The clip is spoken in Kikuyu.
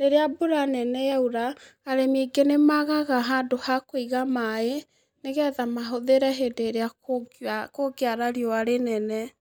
rĩrĩa mbura nene yaura, arĩmi aingĩ nĩ magaga handũ ha kũiga maaĩ nĩ getha mahũthĩre hĩndĩ ĩrĩa kũngĩara rĩũa rĩnene.